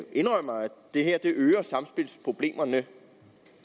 det her øger samspilsproblemerne